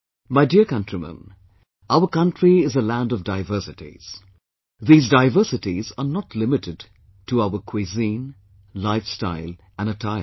My dear countrymen, our country is a land of diversities these diversities are not limited to our cuisine, life style and attire